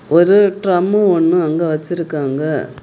ஒரு ட்ரம் ஒன்னு அங்க வெச்சிருக்காங்க.